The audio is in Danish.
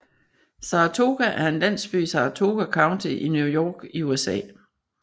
Saratoga er en landsby i Saratoga County i New York i USA